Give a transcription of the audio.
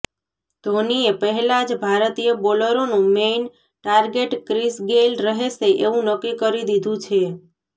ધોનીએ પહેલા જ ભારતીય બોલરોનું મેઇન ટાર્ગેટ ક્રિસ ગેઇલ રહેશે એવું નક્કી કરી દીધું છે